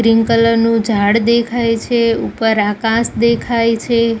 Green colour નું ઝાડ દેખાય છે ઉપર આકાશ દેખાય છે.